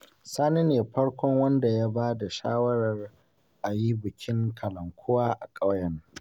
Samarin garin Sulja suna ta shirin yin bikin kalankuwar bana